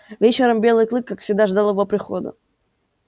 вечером белый клык как всегда ждал его прихода